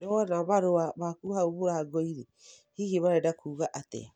Nĩ wona marũa maku hau mũrango-inĩ, hihi marenda kuuga atĩa?